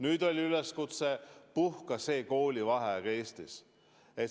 Nüüd oli üleskutse: puhka see koolivaheaeg Eestis!